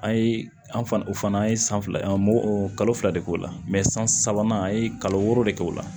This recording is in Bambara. An ye an fana o fana an ye san fila de k'o la san sabanan an ye kalo wɔɔrɔ de kɛ o la